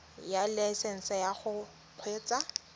ya laesesnse ya go kgweetsa